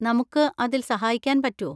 നമുക്ക് അതിൽ സഹായിക്കാൻ പറ്റോ?